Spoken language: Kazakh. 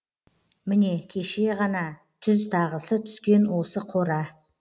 міне кеше ғана түз тағысы түскен осы қора